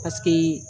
Paseke